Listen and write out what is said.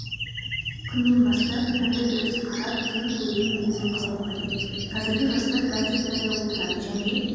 күннен бастап түрлі дұрыс қарап ден қоюдың негізін қалау қажет қазіргі жастар гаджеттарда отырады және